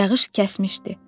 Yağış kəsmişdi.